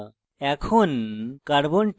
এখন